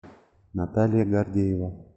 наталья гордеева